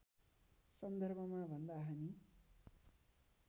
सन्दर्भमा भन्दा हामी